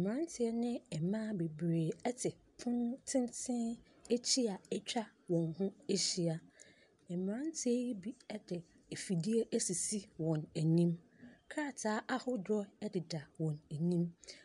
Mmeranteɛ ne ɛmaa bebree ɛte pon tenten akyi a atwa wɔn ho ahyia. Mmeranteɛ yi bi ɛde afidie asisi wɔn anim, krataa ahodoɔ ɛdeda wɔn anim.